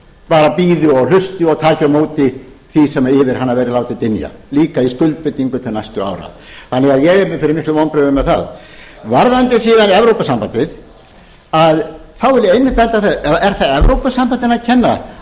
bara bíði og hlusti og taki á móti því sem yfir hana verður látið dynja líka í skuldbindingum til næstu ára þannig að ég er fyrir miklum vonbrigðum með það varðandi síðan evrópusambandið vil ég einmitt benda á þetta er það evrópusambandinu að kenna